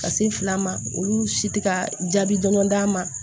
Ka se fila ma olu si tɛ ka jaabi dɔn d'a ma